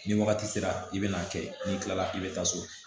Ni wagati sera i bɛ n'a kɛ n'i tilala i bɛ taa so